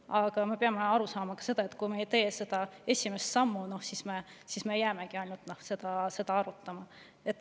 Aga me peame ka aru saama, et kui me ei tee esimest sammu, siis me jäämegi seda ainult arutama.